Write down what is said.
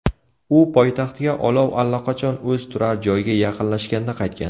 U poytaxtga olov allaqachon o‘z turar joyiga yaqinlashganda qaytgan.